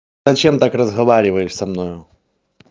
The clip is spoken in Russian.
зачем так разговариваешь со мною